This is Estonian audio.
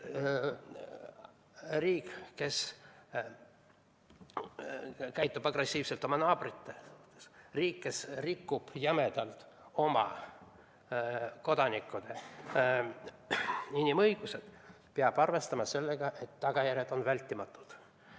Riik, kes käitub agressiivselt oma naabritega, riik, kes rikub jämedalt oma kodanikkude inimõigusi, peab arvestama sellega, et tagajärjed on vältimatud.